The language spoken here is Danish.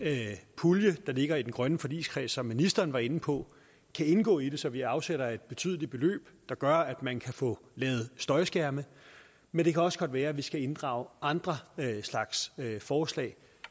pulje der ligger i den grønne forligskreds som ministeren var inde på kan indgå i det så vi afsætter et betydeligt beløb der gør at man kan få lavet støjskærme men det kan også godt være at vi skal inddrage andre slags forslag